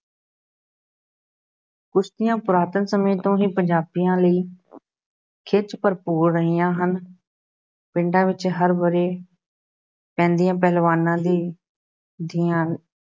ਕੁਸ਼ਤੀਆਂ ਪੁਰਾਤਨ ਸਮੇਂ ਤੋਂ ਹੀ ਪੰਜਾਬੀਆਂ ਲਈ ਖਿੱਚ ਭਰਪੂਰ ਰਹੀਆਂ ਹਨ ਪਿੰਡਾਂ ਵਿੱਚ ਹਰ ਵਰ੍ਹੇ ਪੈਂਦੀਆਂ ਪਹਿਲਵਾਨਾਂ ਦੀ ਦੀਆਂ